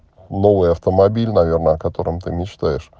новый автомобиль наверное котором ты мечтаешь